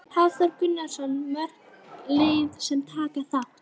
Hafþór Gunnarsson: Mörg lið sem taka þátt?